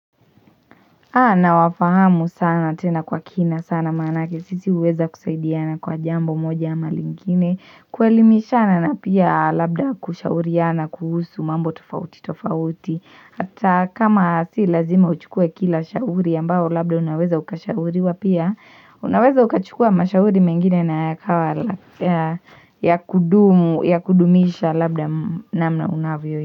Nawafahamu sana tena kwa kina sana maanake sisi huweza kusaidiana kwa jambo moja ama lingine. Kuelimishana na pia labda kushauriana kuhusu mambo tofauti tofauti. Hata kama si lazima uchukue kila shauri ambao labda unaweza ukashauriwa pia. Unaweza ukachukua mashauri mengine na yakawa ya kudumu ya kudumisha labda namna unavyo.